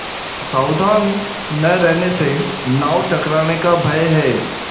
सावधान न रहने से नाव टकराने का भय है